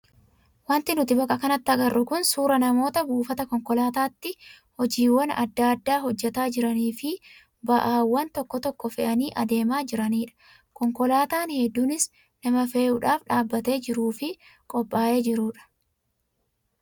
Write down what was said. Wanti nuti bakka kanatti agarru kun suuraa namoota buufata konkolaataatti hojiiwwan adda addaa hojjataa jiranii fi ba'aawwan tokko tokko fe'anii adeemaa jiranidha. Konkolaataan hedduunis nama fe'uudhaaf dhaabbatee jiruu fi qophaa'ee jirudha.